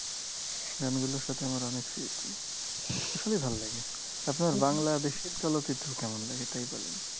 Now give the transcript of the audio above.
গানগুলোর সাথে আমার অনেক স্মৃতি সবই ভালো লাগে। আপনার বাংলাদেশের চলচ্চিত্র কেমন লাগে, তাই বলেন!